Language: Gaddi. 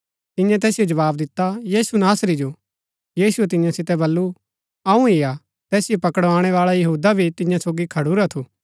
तियें तैसिओ जवाव दिता यीशु नासरी जो यीशुऐ तियां सितै बल्लू अऊँ ही हा तैसिओ पकडाणैवाळा यहूदा भी तियां सोगी खडूरा थू